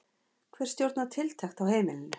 Hver stjórnar tiltekt á heimilinu?